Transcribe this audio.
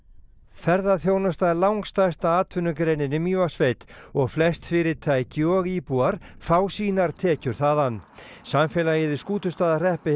ferðaþjónusta er langstærsta atvinnugreinin í Mývatnssveit og flest fyrirtæki og íbúar fá sínar tekjur þaðan samfélagið í Skútustaðahreppi